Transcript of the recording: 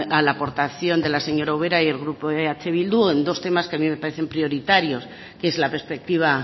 a la aportación de la señora ubera y el grupo eh bildu en dos temas que a mí me parecen prioritarios que es la perspectiva